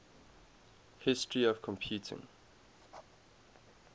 history of computing